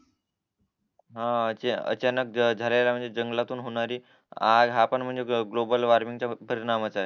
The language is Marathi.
हा अचानक झालेल्या म्हणजे जंगलातून होणारी हापण म्हणजे ग्लोबल वॉर्मिंग चा परिणाम च आहे